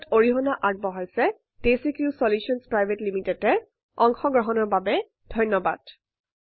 wwwdesicrewin দ্ৱাৰা আগবঢ়োৱা হৈছে 160 অংশ গ্ৰহনৰ বাবে ধন্যৱাদ।